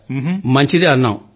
సరే మంచిది అన్నాం